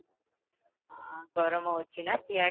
ଆଁ ଗରମ ହଉଚିନା ସିଆଡ଼େ?